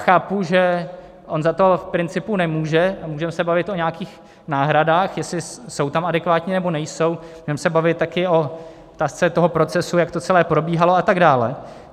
Chápu, že on za to v principu nemůže, můžeme se bavit o nějakých náhradách, jestli jsou tam adekvátní, nebo nejsou, můžeme se bavit také o otázce toho procesu, jak to celé probíhalo, a tak dále.